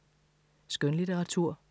Skønlitteratur